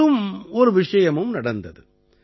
மேலும் ஒரு விஷயமும் நடந்தது